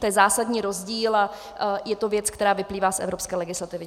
To je zásadní rozdíl a je to věc, která vyplývá z evropské legislativy.